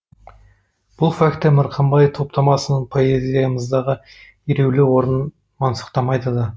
бұл факті мырқымбай топтамасының поэзиямыздағы елеулі орнын мансұқтамайды да